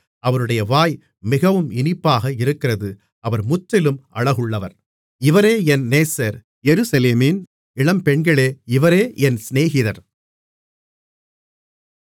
அவருடைய வாய் மிகவும் இனிப்பாக இருக்கிறது அவர் முற்றிலும் அழகுள்ளவர் இவரே என் நேசர் எருசலேமின் இளம்பெண்களே இவரே என் சிநேகிதர்